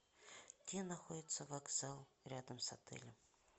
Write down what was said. где находится вокзал рядом с отелем